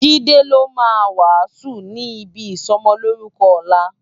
Jide ló má wásùn ni ibi isòmòlórùkò òlá